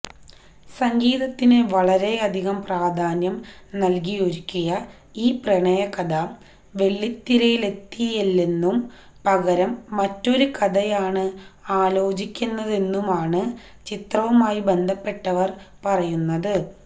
സംഗീതത്തിന് വളരെയധികം പ്രാധാന്യം നല്കിയൊരുക്കിയ ഈ പ്രണയകഥ വെള്ളിത്തിരയിലെത്തില്ലെന്നും പകരം മറ്റൊരു കഥയാണ് ആലോചിക്കുന്നതെന്നുമാണ് ചിത്രവുമായി ബന്ധപ്പെട്ടവര് പറയുന്നത്